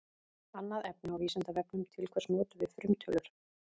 Annað efni á Vísindavefnum: Til hvers notum við frumtölur?